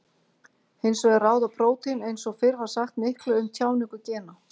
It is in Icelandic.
Hins vegar ráða prótín eins og fyrr var sagt miklu um tjáningu gena.